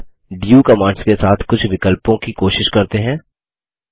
अब do commands के साथ कुछ विकल्पों की कोशिश करते हैं